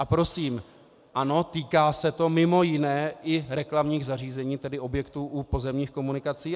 A prosím, ano, týká se to mimo jiné i reklamních zařízení, tedy objektů u pozemních komunikací.